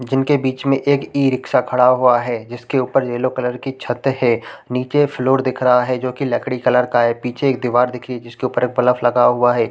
जिनके बीच में एक ई-रिक्शा खड़ा हुआ है जिसके ऊपर येलो कलर की छत है नीचे फ्लोर दिख रहा है जोकि लकड़ी कलर का है पीछे एक दीवार दिखी जिसके ऊपर एक बलफ लगा हुआ हैं ।